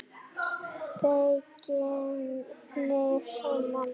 Beygi mig saman.